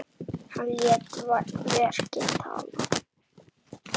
Hann lét verkin tala.